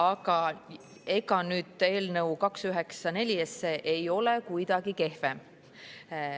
Aga ega eelnõu 294 ei ole kuidagi kehvem.